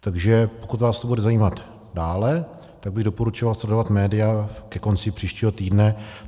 Takže pokud vás to bude zajímat dále, tak bych doporučoval sledovat média ke konci příštího týdne.